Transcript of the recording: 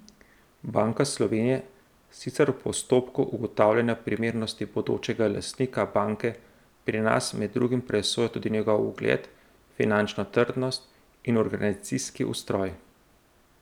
Banka Slovenije sicer v postopku ugotavljanja primernosti bodočega lastnika banke pri nas med drugim presoja tudi njegov ugled, finančno trdnost in organizacijski ustroj.